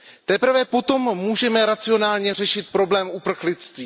Teprve potom můžeme racionálně řešit problém uprchlictví.